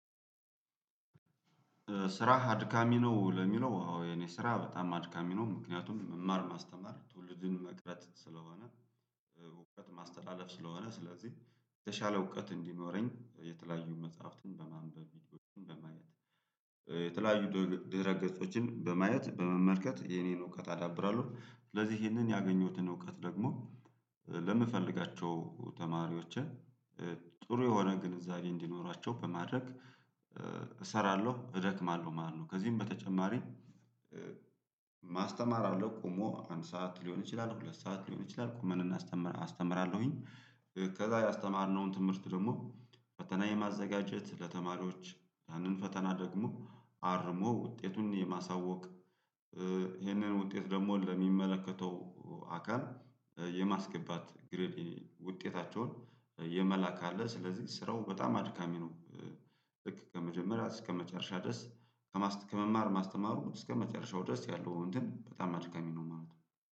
ስራህ አድካሚ ነው ለሚለው የኔ ስራ በጣም አድካሚ ነው ምክንያቱም መማር ማስተማር ትውልድን መቅረጽስለሆነ። እውቀት ማስተላለፍ ስለሆነ ስለዚህ የተሻለ እውቀት እንዲኖረኝ የተለያዩ መጽሐፍትን በማንበብ በማየት የተለያዩ ድኧ ድረ ገጾችን በማየት በመመልከት የኔን እውቀት አዳብራለሁ ስለዚህ ይህንን ያገኘሁትን እውቀት ደግሞ ለምፈልጋቸው ተማሪዎቼ ጥሩ የሆነ ግንዛቤ እንዲኖራቸው በማድረግ እሰራለሁ እደክማለሁ ማለት ነው። ከዚህም በተጨማሪ ማስተማር አለው ቆሞ አንድ ሰዓት ሊሆን ይችላል ሁለት ሰዓት ሊሆን ይችላል ቁመን እናስተ አስተምራለሁኝ ከዛ ያስተማርነውን ትምህርት ደግሞ ፈተና የማዘጋጀት ለተማሪዎች ያንን ፈተና ደግሞ አርሞ ውጤቱን የማሳወቅ ይህንን ውጤት ደግሞ ለሚመለከተው አካል የማስገባት ግርሊ ውጤታቸውን የመላክ አለ ስለዚህ ስራው በጣም አድካሚ ነው። ልክ ከመጀመሪያ እስከመጨረሻ ድረስ ለማስ ከመማር ማስተማሩ እስከመጨረሻው ድረስ ያለው እንትን በጣም አድካሚ ነው